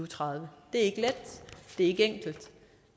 tredive det er ikke let det er ikke enkelt